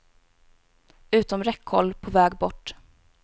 Utom räckhåll, på väg bort.